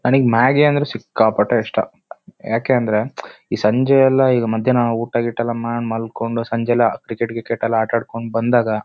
ನನಿಗೆ ಮ್ಯಾಗಿ ಅಂದ್ರೆ ಸಿಕ್ಕಾಪಟ್ಟೆ ಇಷ್ಟ ಯಾಕೇಂದ್ರೆ ಈ ಸಂಜೆಯೆಲ್ಲ ಈಗ ಮಧ್ಯಾಹ್ನ ಊಟ ಗಿಟ ಮಾಡ್ ಮಲ್ಕೊಂಡು ಸಂಜೆಯಲ್ಲ ಕ್ರಿಕೆಟ್ ಗ್ರಿಕೆಟ್ ಆಟ ಎಲ್ಲ ಆಡ್ಕೊಂಡು ಬಂದಾಗ--